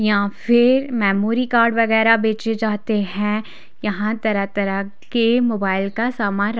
या फिर memory card वगैरह बेचे जाते हैं यहाँ तरह-तरह के मोबाइल का सामान--